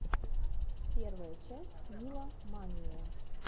первая часть нила мания